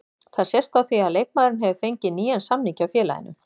Það sést á því að leikmaðurinn hefur fengið nýjan samning hjá félaginu.